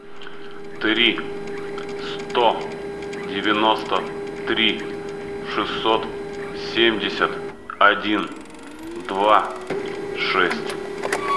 три сто девяносто три шестьсот семьдесят один два шесть